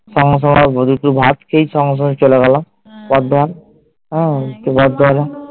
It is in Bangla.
সঙ্গে সঙ্গে একটু ভাত খেয়েই সঙ্গে সঙ্গে চলে গেলাম হ্যাঁ বর্ধমান হম বর্ধমান